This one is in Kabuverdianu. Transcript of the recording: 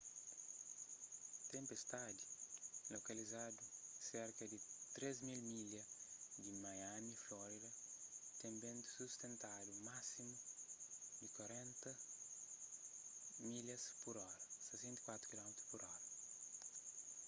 tenpestadi lokalizadu serka di 3.000 milhas di miami florida ten bentu sustentadu másimu di 40 mph 64 kph